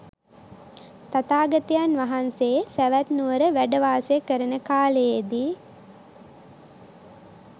තථාගතයන් වහන්සේ සැවැත්නුවර වැඩ වාසය කරන කාලයේ දී